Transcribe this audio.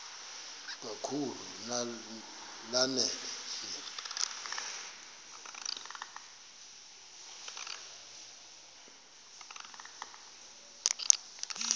kakhulu lanela nje